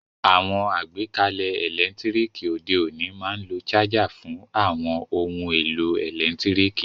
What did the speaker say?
Àwon àgbékalẹ̀ ẹ́lẹ̀ntirikì òde ọ̀ní ma n lo charger fun àwon oun èlò ẹ́lẹ̀ntirikì